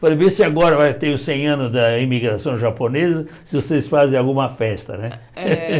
Falei, vê se agora vai ter os cem anos da imigração japonesa, se vocês fazem alguma festa, né? É